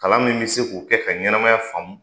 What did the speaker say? Kalan min be se k'u kɛ ka ɲɛnɛmaya faamu